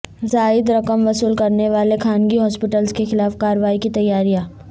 زائد رقم وصول کرنے والے خانگی ہاسپٹلس کے خلاف کارروائی کی تیاریاں